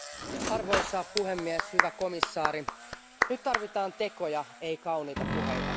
Arvoisa puhemies, hyvä komissaari, nyt tarvitaan tekoja, ei kauniita puheita.